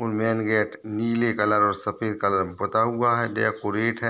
ऊ main gate नीले colour और सफेद कलर में पोता हुआ है डेकोरेट है।